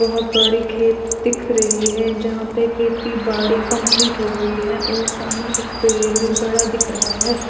बहोत बड़ी खेत दिख रही है जहां पे खेती बाड़ी कम्प्लीट होगई है और सामने एक पेड़ भी बड़ा दिख रहा है